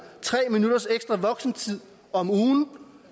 tre minutters ekstra voksentid om ugen